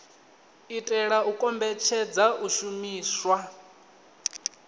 itela u kombetshedza u shumiswa